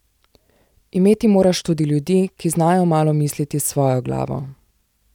Imeti moraš tudi ljudi, ki znajo malo misliti s svojo glavo.